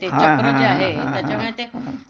त्याच्यामुळं जे आहे त्याच्यावर ते